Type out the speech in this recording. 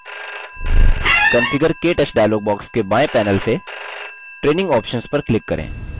configure – ktouch dialog box के बाएँ panel से training options पर click करें